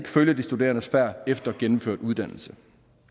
følger de studerendes færd efter gennemført uddannelse